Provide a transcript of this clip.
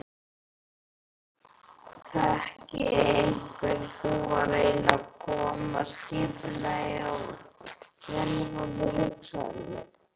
Þekki hvernig þú reynir að koma skipulagi á villuráfandi hugsanirnar.